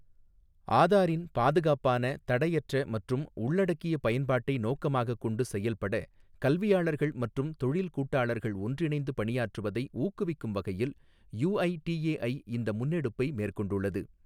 ஆதாரின் பாதுகாப்பான, தடையற்ற மற்றும் உள்ளடக்கிய பயன்பாட்டை நோக்கமாகக் கொண்டு செயல்பட கல்வியாளர்கள் மற்றும் தொழில் கூட்டாளர்கள் ஒன்றிணைந்து பணியாற்றுவதை ஊக்குவிக்கும் வகையில் யுஐடிஏஐ இந்த முன்னெடுப்பை மேற்கொண்டுள்ளது.